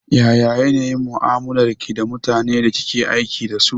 Ya yanayin mu'amalar ki da mutanen da kike aiki dasu?